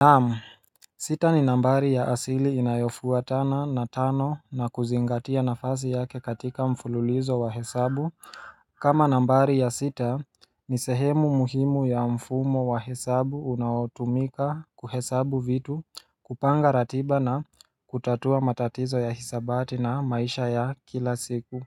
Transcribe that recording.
Naam, sita ni nambari ya asili inayofua tana na tano na kuzingatia nafasi yake katika mfululizo wa hesabu kama nambari ya sita ni sehemu muhimu ya mfumo wa hesabu unaotumika kuhesabu vitu kupanga ratiba na kutatua matatizo ya hisabati na maisha ya kila siku